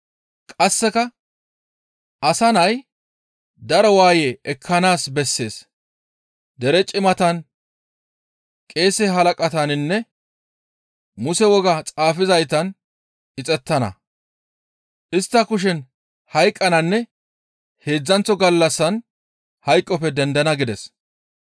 qasseka, «Asa Nay daro waaye ekkanaas bessees; dere cimatan, qeese halaqataninne Muse wogaa xaafizaytan ixettana, istta kushen hayqqananne heedzdzanththo gallassan hayqoppe dendana» gides.